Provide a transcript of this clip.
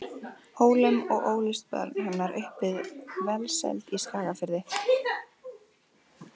Hólum og ólust börn hennar upp við velsæld í Skagafirði.